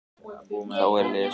Þá er lesið